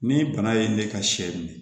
Ni bana ye ne ka sɛ minɛ